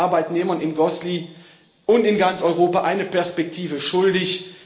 Wir sind den Arbeitnehmern in Gosselies und in ganz Europa eine Perspektive schuldig.